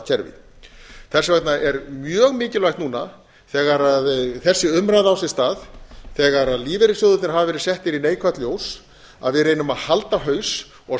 söfnunarsjóðakerfi þess vegna er mjög mikilvægt núna þegar þessi umræða á sér stað þegar lífeyrissjóðirnir hafa verið settir í neikvætt ljós að við reynum að halda haus og standa